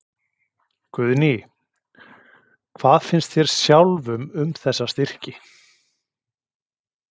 Guðný: Hvað finnst þér sjálfum um þessa styrki?